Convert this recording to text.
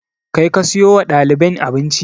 Kai ka siyo wa ɗalibin abinci?